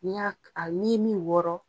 N'i y' a ni ye min wɔrɔ